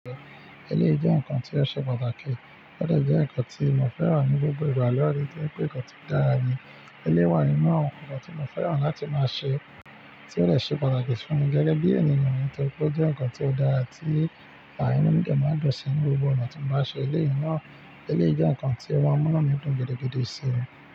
Eleyìí jẹ́ nǹkan tí ó ṣe pàtàkì, ó dẹ jẹ́ nǹkan tí mo fẹ́ràn ní gbogbo ìgbà loore, tori pè nkan tí dára ni. Eleyii wà nínú àwọn nǹkan tí mo fẹ́ràn láti máa ṣe tí ó dẹ ṣe pàtàkì fún mi gẹ́gẹ́ bí ènìyàn nítoripe ó jẹ́ nǹkan tí ó dára tí àà inu mi dẹ máa n dun sí ní gbogbo ọ̀nà tí n bá ṣe eleyii náà. Eleyii jẹ́ nǹkan tí o máa mu inu mi dùn gidi gidi síi.